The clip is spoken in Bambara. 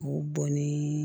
O bɔn ni